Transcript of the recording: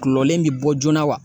Kulɔlen in bɛ bɔ joona wa?